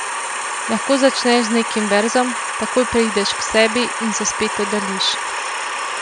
Lahko začneš z nekim verzom, takoj preideš k sebi in se spet oddaljiš.